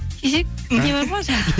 кесейік не бар ма жаңағы